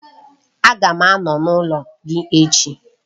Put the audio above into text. Aga m anọ n'ụlọ gị ech